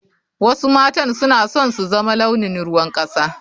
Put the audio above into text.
Wasu matan suna son su zama launin ruwan kasa.